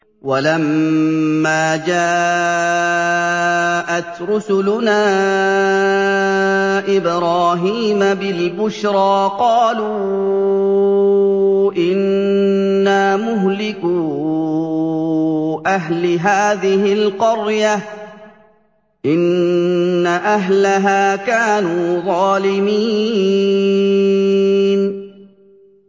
وَلَمَّا جَاءَتْ رُسُلُنَا إِبْرَاهِيمَ بِالْبُشْرَىٰ قَالُوا إِنَّا مُهْلِكُو أَهْلِ هَٰذِهِ الْقَرْيَةِ ۖ إِنَّ أَهْلَهَا كَانُوا ظَالِمِينَ